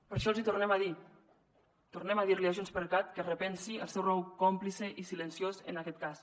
per això els hi tornem a dir tornem a dir a junts per cat que repensi el seu rol còmplice i silenciós en aquest cas